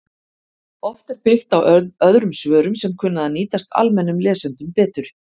Oft er byggt á öðrum svörum sem kunna að nýtast almennum lesendum betur